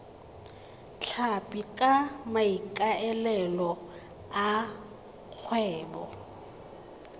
tlhapi ka maikaelelo a kgwebo